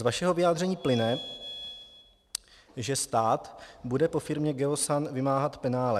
Z vašeho vyjádření plyne, že stát bude po firmě Geosan vymáhat penále.